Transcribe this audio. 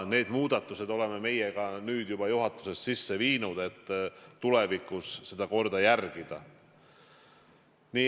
Need muudatused oleme meie ka nüüd juba juhatuses sisse viinud, et tulevikus seda korda järgida.